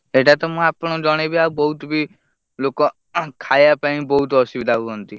ସେଇଟା ତ ମୁଁ ଆପଣଙ୍କୁ ଜଣେଇବି ଆଉ ବହୁତ୍ ବି ଲୋକ ଅ ହଂ ଖାଇଆ ପାଇଁ ବହୁତ୍ ଅସୁବିଧା ହୁଅନ୍ତି।